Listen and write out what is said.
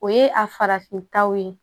O ye a farafintaw ye